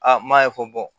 A m'a ye ko